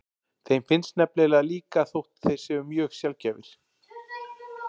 Þeir finnast nefnilega líka þótt þeir séu mjög sjaldgæfir.